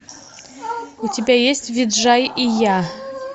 у тебя есть виджай и я